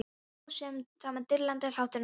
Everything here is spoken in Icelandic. Hún hló sama dillandi hlátrinum og fyrr.